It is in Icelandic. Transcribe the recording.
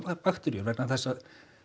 bakteríur vegna þess að